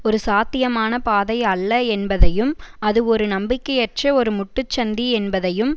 ஒரு சாத்தியமான பாதை அல்ல என்பதையும் அது ஒரு நம்பிக்கையற்ற ஒரு முட்டுச்சந்தி என்பதையும்